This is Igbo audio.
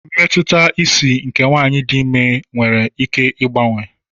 Mmetụta isi nke nwanyị dị imé nwere ike ịgbanwe.